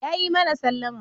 Yayi mana sallama.